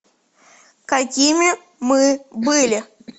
какими мы были